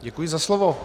Děkuji za slovo.